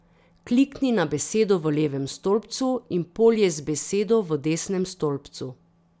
Klikni na besedo v levem stolpcu in polje z besedo v desnem stolpcu.